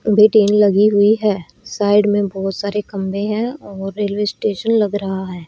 वे train लगी हुई है साइड में बहुत सारे खंभे हैं और रेलवे स्टेशन लग रहा है।